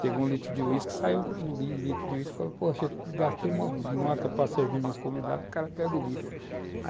Pegou o litro de uísque, saiu com o litro de uísque, falou, poxa, gastei uma nota para servir meus convidados, o cara pega o litro.